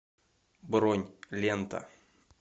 бронь лента